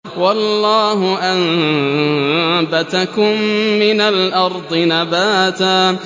وَاللَّهُ أَنبَتَكُم مِّنَ الْأَرْضِ نَبَاتًا